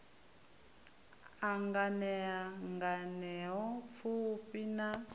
a nganea nganea pfufhi na